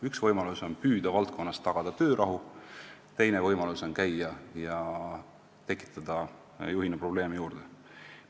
Üks võimalus on püüda valdkonnas tagada töörahu, teine võimalus on käia ja tekitada juhina probleeme juurde.